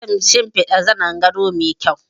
Zan shinfida zanin gado mai kyau